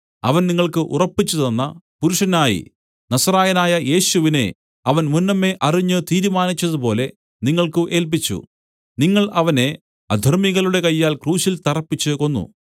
അവൻ നിങ്ങൾക്ക് ഉറപ്പിച്ചു തന്ന പുരുഷനായി നസറായനായ യേശുവിനെ അവൻ മുന്നമേ അറിഞ്ഞ് തീരുമാനിച്ചതുപോലെ നിങ്ങൾക്ക് ഏല്പിച്ചു നിങ്ങൾ അവനെ അധർമ്മികളുടെ കയ്യാൽ ക്രൂശിൽ തറപ്പിച്ചു കൊന്നു